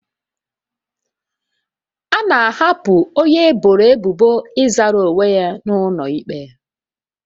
A na-ahapụ onye eboro ebubo ịzara onwe ya n'ụlọ ikpe